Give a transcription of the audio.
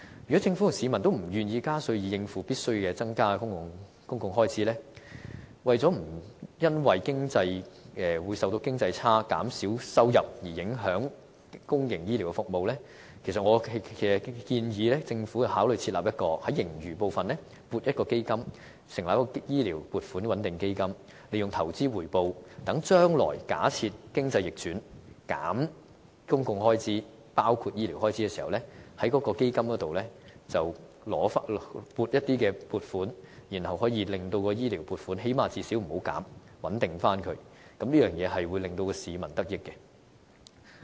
如果政府和市民均不願意加稅以應付必須增加的公共開支，為了不會因為受到經濟差，政府收入減少，而影響公營醫療的服務，我建議政府考慮在盈餘部分撥款，設立醫療撥款穩定基金，利用投資回報，讓將來假設經濟逆轉，削減公共開支，包括醫療開支時，便可在該基金內撥款，最低限度不會削減醫療開支的撥款，以作穩定，這樣便可令市民得益。